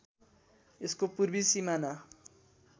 यसको पूर्वी सिमाना